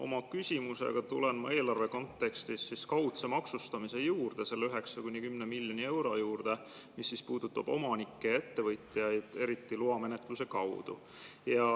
Oma küsimusega tulen ma eelarve kontekstis kaudse maksustamise juurde, selle 9–10 miljoni euro juurde, mis puudutab omanikke ja ettevõtjaid, eriti loamenetluse kaudu.